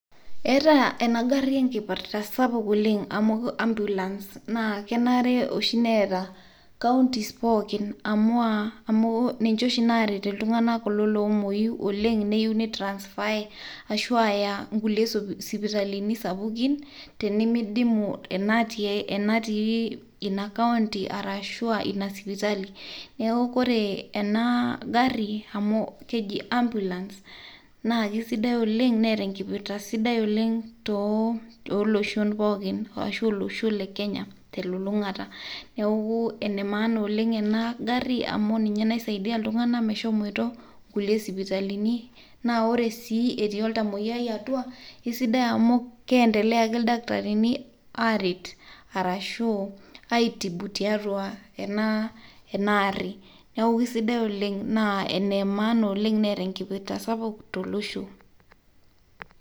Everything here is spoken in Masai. Etaa ena gari ekimpirta sapuk oleng' amu ambulance. Naa kenare neeta counties pooki, amu ninche oshi naaret kulo tung'anak loomuoyu oleng' neyieu neyai inkulie sipitalini sapukin tenemeidimu ina natii ina county[cs ashu aa ina sipitali. Neeku ore ena garri amu keji ambulance naa keeta enkipirta sidai oleng' tooloshon pookin arashu olosho lekenya telulung'ata. Enemaana oleng' ena garri amu ninye naisaidia iltung'anak meshomoito kulie sipitalini, naa ore sii etii oltamueyiai atua, kisidai amu kiendelea ake ildakitarini aaret arashu aaitubu tiatua ena arri